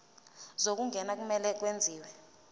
zokungena kumele kwenziwe